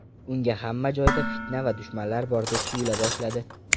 Unga hamma joyda fitna va dushmanlar bordek tuyula boshladi.